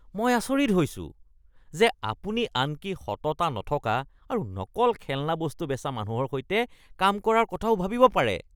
মই আচৰিত হৈছোঁ যে আপুনি আনকি সততা নথকা আৰু নকল খেলনা বস্তু বেচা মানুহৰ সৈতে কাম কৰাৰ কথাও ভাবিব পাৰে।